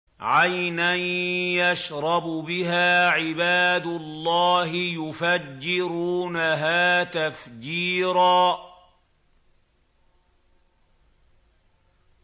عَيْنًا يَشْرَبُ بِهَا عِبَادُ اللَّهِ يُفَجِّرُونَهَا تَفْجِيرًا